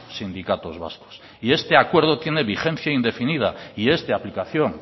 sindicatos vascos y este acuerdo tiene vigencia indefinida y es de aplicación